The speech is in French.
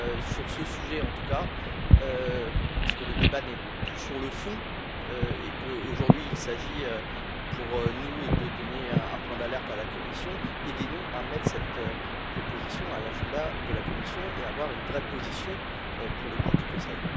Sur ce sujet, en tout cas, puisque le débat n'est plus sur le fond aujourd'hui, il s'agit pour nous de donner un point d'alerte à la Commission aidez nous à mettre cette proposition à l'agenda de la Commission et à avoir une vraie position, pour le coup, du Conseil.